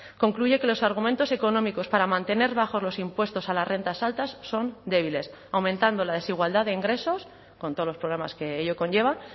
concluye que los argumentos económicos para mantener bajos los impuestos a las rentas altas son débiles aumentando la desigualdad de ingresos con todos los problemas que ello conlleva